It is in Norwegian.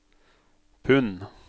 pund